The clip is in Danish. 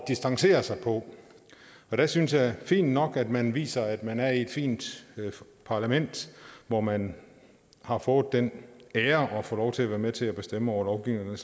distancere sig på jeg synes det er fint nok at man viser at man er i et fint parlament hvor man har fået den ære at få lov til at være med til at bestemme over lovgivning og